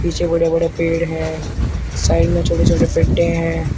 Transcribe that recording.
नीचे बड़े बड़े पेड़ हैं साइड में छोटे छोटे पेडे हैं।